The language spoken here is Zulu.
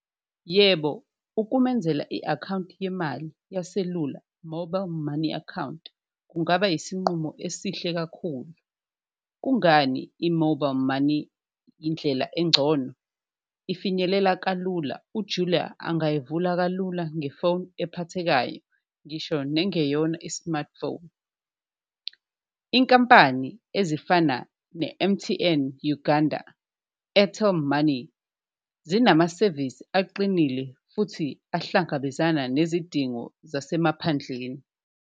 Yebo, ukumenzela i-akhawunti yemali yeselula mobile money account kungaba yisinqumo esihle kakhulu, kungani i-mobile money indlela engcono, ifinyelele kalula uJulia angayivula kalula ngefoni ephathekayo ngisho nengeyona i-smartphone. Inkampani ezifana ne-M_T_N Uganda money, zinamasevisi aqinile futhi ahlangabezana nezidingo zasemaphandleni.